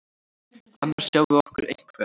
Annars sjái okkur einhver.